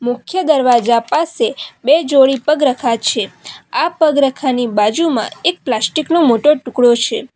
મુખ્ય દરવાજા પાસે બે જોડી પગ રખા છે આ પગ રખા ની બાજુમાં એક પ્લાસ્ટિક નો મોટો ટુકડો છે.